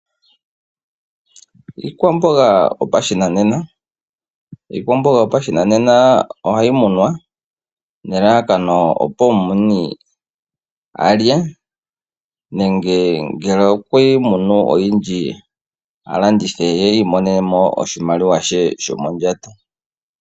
Iikwamboga yopashinanena, iikwamboga yopashinanena ohayi munwa nelalakano opo omumuni a lye nenge ngele okweyi munu oyindji a landithe ye i imonene mo oshimaliwa she shomondjato.